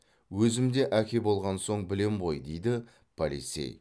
өзім де әке болған соң білем ғой дейді полицей